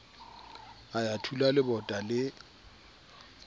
a ya thula lebota le